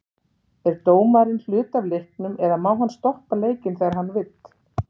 Er dómarinn hluti af leiknum eða má hann stoppa leikinn þegar hann vill?